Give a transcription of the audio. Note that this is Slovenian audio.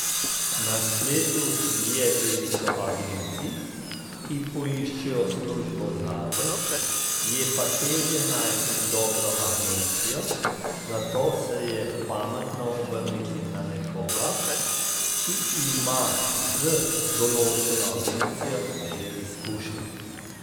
Na spletu je veliko agencij, ki poiščejo službo zate, je pa težje najti dobro agencijo, zato se je pametno obrniti na nekoga, ki ima z določeno agencijo že izkušnje.